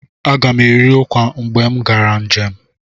Agam eri ụkwa mgbe m gara njem.